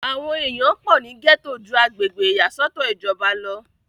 àwọn èèyàn pọ̀ ní gẹ́tò ju agbègbè ìyàsọ́tọ̀ ìjọba lọ